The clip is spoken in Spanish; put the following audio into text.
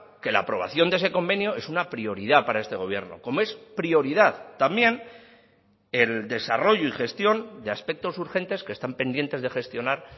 que la aprobación de ese convenio es una prioridad para este gobierno como es prioridad también el desarrollo y gestión de aspectos urgentes que están pendientes de gestionar